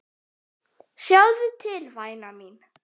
Sjáðu til væna mín.